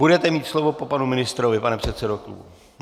Budete mít slovo po panu ministrovi, pane předsedo klubu.